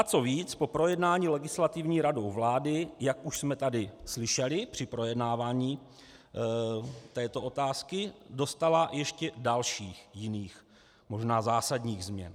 A co víc, po projednání Legislativní radou vlády, jak už jsme tady slyšeli při projednávání této otázky, dostála ještě dalších jiných, možná zásadních změn.